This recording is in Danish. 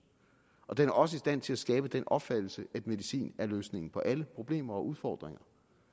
den er også i stand til at skabe den opfattelse at medicin er løsningen på alle problemer og udfordringer